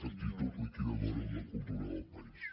actitud liquidadora amb la cultura del país